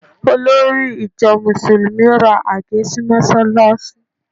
Olórí ìjọ Mùsùlùmí ra àgé sí mọ́ṣáláṣí